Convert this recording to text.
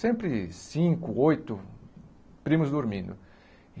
Sempre cinco, oito primos dormindo.